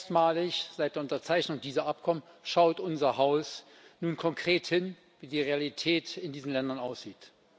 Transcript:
Erstmalig seit der Unterzeichnung dieser Abkommen schaut unser Haus nun konkret hin, wie die Realität in diesen Ländern aussieht.